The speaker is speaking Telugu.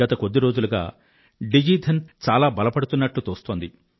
గత కొద్ది రోజులుగా డిజి ధన్ యోజన చాలా బలపడుతున్నట్లు తోస్తోంది